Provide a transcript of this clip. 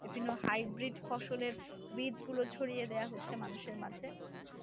এজন্য highbreed ফসলের বীজগুলো ছড়িয়ে দেওয়া হচ্ছে মানুষের মাঝে